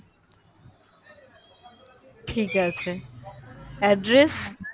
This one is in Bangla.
ঠিক আছে address